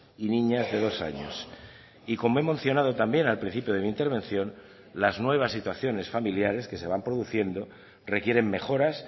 y niñas de dos años y como he mencionado también al principio de mi intervención las nuevas situaciones familiares que se van produciendo requieren mejoras